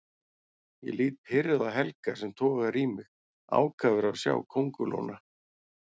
Ég lít pirruð á Helga sem togar í mig, ákafur að sjá kóngulóna.